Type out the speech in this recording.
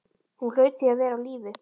Hún hlaut því að vera á lífi.